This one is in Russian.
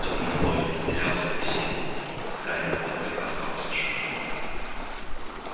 тёмный лорд потерял свою силу гарри поттер остался жив